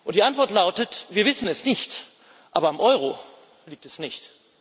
Die Antwort lautet Wir wissen es nicht, aber am Euro liegt es nicht.